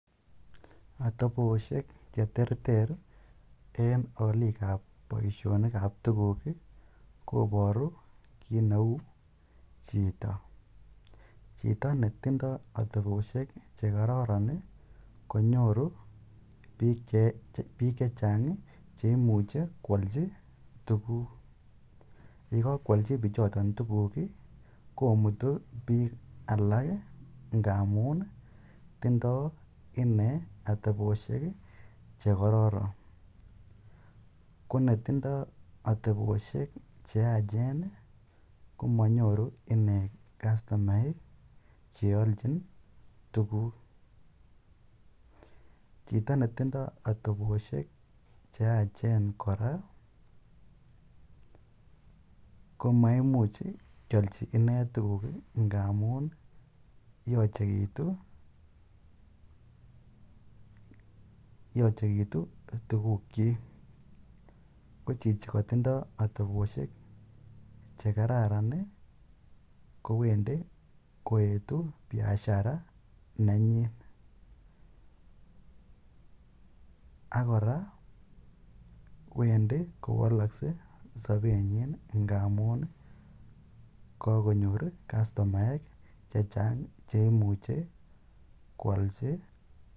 Atoposhek che ter ter en alik ap poishonik ap tuguk koparu kiit neu chito. Chito ne tindai ateposhek che kararan konyoru piik che chang' che imuchi koalchi tuguuk. Ye kakoalchi pichoton tuguk i, komuutu piik alak ngamun tindai ine ateposhek che kararan. Ko netindai ateposhek che yaachen ko manyoru ine kastomaek che alchin tuguuk. Chito ne tindai ateposhek che yaachen kora komaimuch kealchi ine tuguk ngamun yachekitu tugukchik. Ko chichi katindai ateposhek che kararan kowendi koetu biashara nenyin. Ak kora wendi kowalaksei sapenyin ngamun kakonyor katsomaek che chang' che imuche ko alchi.